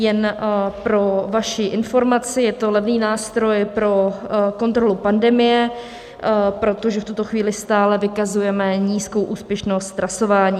Jen pro vaši informaci, je to levný nástroj pro kontrolu pandemie, protože v tuto chvíli stále vykazujeme nízkou úspěšnost trasování.